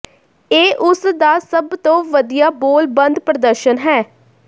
ਇਹ ਉਸ ਦਾ ਸਭ ਤੋਂ ਵਧੀਆ ਬੋਲਬੰਦ ਪ੍ਰਦਰਸ਼ਨ ਹੈ